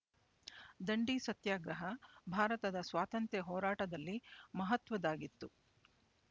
ದಂಡಿ ಸತ್ಯಾಗ್ರಹ ಭಾರತದ ಸ್ವಾತಂತ್ರ್ಯ ಹೋರಾಟದಲ್ಲಿ ಮಹತ್ವದ್ದಾಗಿತ್ತು